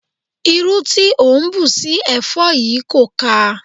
Irú tí o ń bù sí ẹ̀fọ́ yìí kò ká a.